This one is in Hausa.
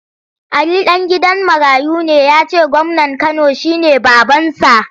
Ali ɗan gidan marayu ne ya ce gwamnan Kano shi ne babansa.